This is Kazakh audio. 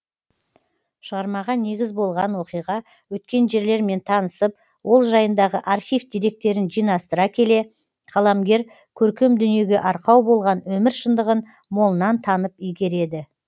шығармаға негіз болған оқиға өткен жерлермен танысып ол жайындағы архив деректерін жинастыра келе қаламгер көркем дүниеге арқау болған өмір шындығын молынан танып игереді